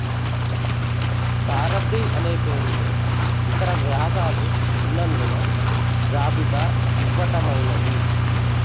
సారధి అనే పేరుతో ఇతర వ్యాసాలు ఉన్నందున జాబితా ఇవ్వటమైనది